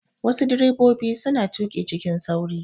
Wassu direbobi suna tuƙi cikin sauri